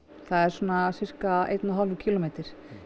það er svona sirka einn og hálfur kílómetri